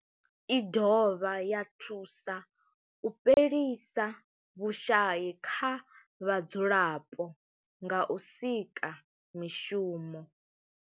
I dovha ya thusa u fhelisa vhushayi kha vhadzulapo nga u sika mishumo.